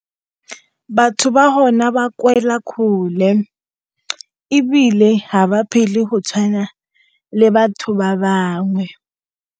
Batho ba hona ba kgole ebile ga ba phele go tshwana le batho ba bangwe.